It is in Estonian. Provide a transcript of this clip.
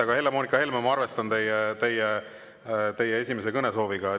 Aga, Helle-Moonika Helme, ma arvestan teie soovi esimesena kõneleda.